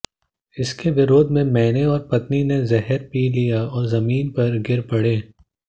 इसके विरोध में मैंने और पत्नी ने जहर पी लिया और जमीन पर गिर पड़े